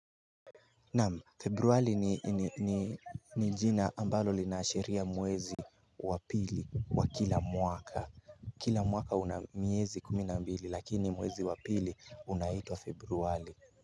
Naam februari ni jina ambalo linaashiria mwezi wa pili wa kila mwaka kila mwaka una miezi kumi na mbili lakini mwezi wa pili unaitwa februari.